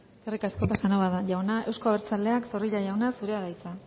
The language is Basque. eskerrik asko casanova jauna euzko abertzaleak zorrilla jauna zurea da hitza